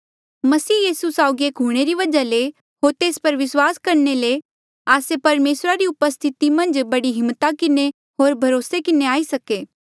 मसीह यीसू साउगी एक हूंणे री वजहा ले होर तेस पर विस्वास करणे ले आस्से परमेसरा री उपस्थिति मन्झ बड़ी हिम्मता किन्हें होर भरोसे किन्हें आई सके